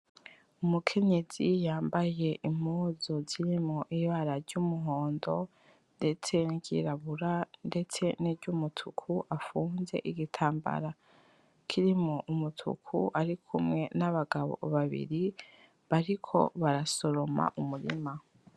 Umukenyezi yambaye Impuzu zirimwo Ibara ry'Umuhondo, ndetse niryirabura, ndetse n'iryumutuku afunze igitambara kirimwo umutuku ,arikumwe n'abagabo babiri bariko barasoroma umurima.